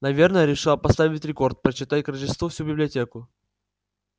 наверное решила поставить рекорд прочитать к рождеству всю библиотеку